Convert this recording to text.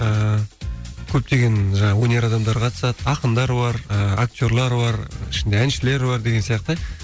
ііі көптеген жаңағы өнер адамдары қатысады ақындар бар ыыы актерлер бар ішінде әншілер бар деген сияқты